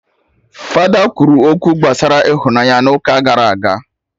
Fada kwuru okwu gbasara ịhụnanya n'ụka gara aga